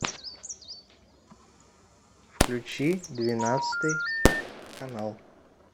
включи двенадцатый канал